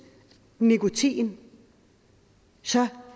nikotin så